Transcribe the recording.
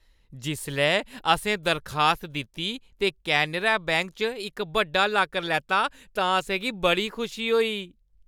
जिसलै असें दरखास्त दित्ती ते कैनरा बैंक च इक बड्डा लाकर लैता तां असें गी बड़ी खुशी होई।